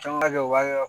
Caman ka kɛ u b'a kɛ